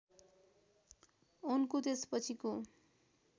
उनको त्यसपछिको